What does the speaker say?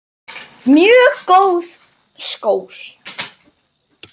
Mjög góð skor.